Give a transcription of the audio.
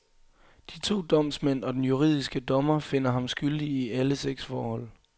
De to domsmænd og den juridiske dommer finder ham skyldig i alle seks forhold.